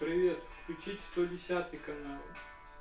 привет включить сто десятый канал